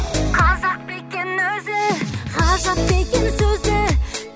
қазақ па екен өзі ғажап па екен сөзі